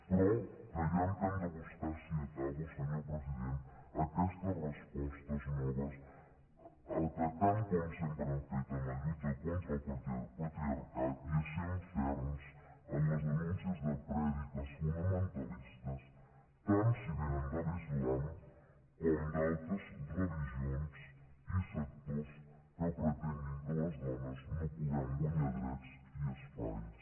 però creiem que hem de buscar sí acabo senyor president aquestes respostes noves atacant com sempre hem fet en la lluita contra el patriarcat i essent ferms en les denúncies de prèdiques fonamentalistes tant si vénen de l’islam com d’altres religions i sectors que pretenguin que les dones no puguem guanyar drets i espais